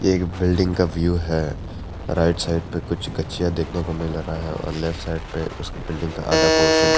एक बिल्डिंग का व्यू है राइट साइड पर कुछ गच्चीयां देखने को मिल रहा है और लेफ्ट साइड पे उस बिल्डिंग का आधा पोर्शन --